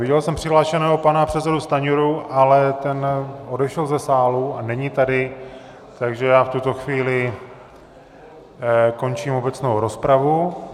Viděl jsem přihlášeného pana předsedu Stanjuru, ale ten odešel ze sálu a není tady, takže já v tuto chvíli končím obecnou rozpravu.